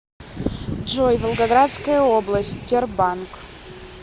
джой волгоградская область тербанк